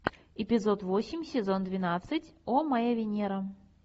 эпизод восемь сезон двенадцать о моя венера